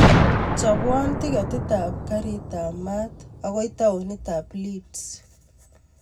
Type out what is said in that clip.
Chobwon tiketit ab garit ab maat akoi taunit ab leeds